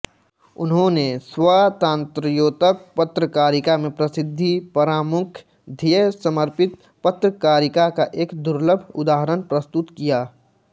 उन्होंने स्वातंत्रयोतर पत्रकारिता में प्रसिद्धि परांमुख ध्येय समर्पित पत्रकारिता का एक दुलर्भ उदाहरण प्रस्तुत किया